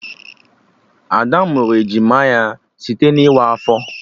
Ada mụrụ ejima ya site na ịwa afọ